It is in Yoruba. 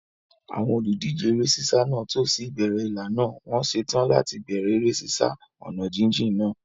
Àwọn olùdíje eré sísá náà tò sí ìbẹ̀rẹ̀ ìlà náà, wọ́n ṣetán láti bẹ̀rẹ̀ eré sísá ọ̀nà jíjìn náà.